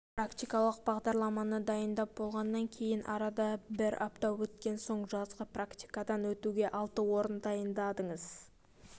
практикалық бағдарламаны дайындап болғаннан кейін арада бір апта өткен соң жазғы практикадан өтуге алты орын дайындадыңыз